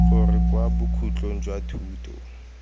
gore kwa bokhutlong jwa thuto